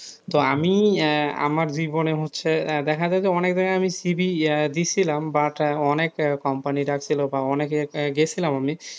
তো আমি আমার জীবনে হচ্ছে দেখা যাই যে অনেক জায়গায় আমি CV দিয়েছিলাম but অনেক company ডাকছিল বা অনেক গেছিলাম আমি,